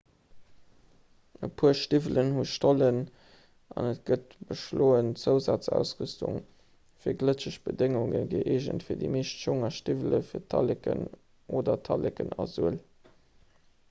e puer stiwwelen hu stollen an et gëtt beschloen zousazausrüstung fir glëtscheg bedéngungen gëeegent fir déi meescht schong a stiwwelen fir d'talleken oder talleken a suel